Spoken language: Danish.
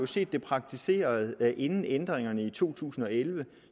set det praktiseret inden ændringerne i to tusind og elleve